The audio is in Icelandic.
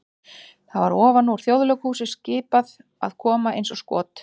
það var ofan úr Þjóðleikhúsi skipað að koma eins og skot!